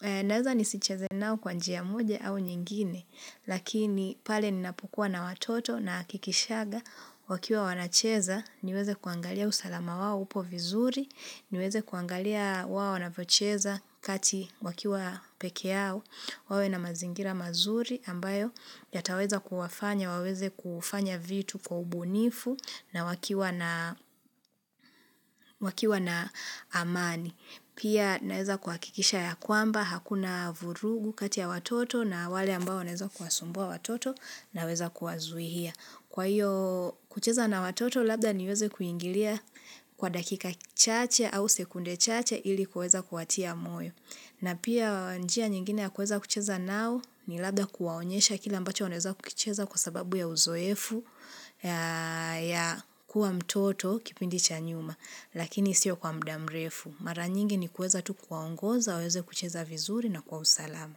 Naweza nisicheze nao kwa njia moja au nyingine. Lakini pale ninapokuwa na watoto na kikishaga. Wakiwa wanacheza niweze kuangalia usalama wao upo vizuri. Niweze kuangalia wao wanavyocheza kati wakiwa peke yao, wawe na mazingira mazuri ambayo yataweza kuwafanya, waweze kufanya vitu kwa ubunifu na wakiwa na wakiwa na amani. Pia naeza kuhakikisha ya kwamba, hakuna vurugu kati ya watoto na wale ambao wanaweza kuwasumbua watoto naweza kuwazuia. Kwa hiyo kucheza na watoto labda niweze kuingilia kwa dakika chache au sekunde chache ili kuweza kuwatia moyo. Na pia njia nyingine ya kuweza kucheza nao ni labda kuwaonyesha kile ambacho wanaeza kucheza kwa sababu ya uzoefu ya kuwa mtoto kipindi cha nyuma. Lakini siyo kwa muda mrefu. Mara nyingi ni kuweza tu kuwaongoza, waweze kucheza vizuri na kwa usalama.